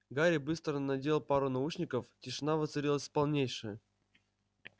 гарри быстро надел пару наушников тишина воцарилась полнейшая